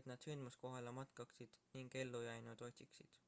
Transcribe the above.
et nad sündmuskohale matkaksid ning ellujäänuid otsiksid